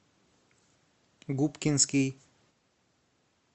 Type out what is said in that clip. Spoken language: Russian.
губкинский